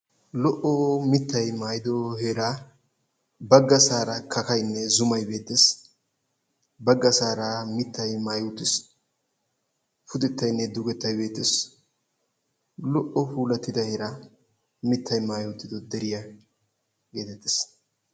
Lo"o muttay naagiyo heera baggaasaara kakkaynne zumay beettes. Baggassara mittay maayi uttiis, pudetaynne dugettay beettees. Lo"o puulatida heera mittay maayyi uttido deriya getettees.